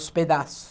Os pedaços.